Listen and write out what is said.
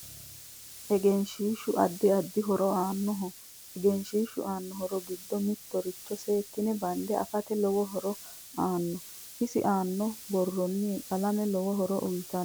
Egenshiishu addi addi horo aanoho egenshiishu aano horo giddo mitoricho seekine bande afate lowo horo aanno isi aana buurooni qalame lowo horo uyiitanno